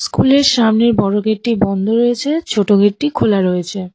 স্কুলের সামনের বড় গেটটি বন্ধ রয়েছে ছোট গেটটি খোলা রয়েছে।